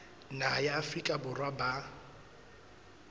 naha ya afrika borwa ba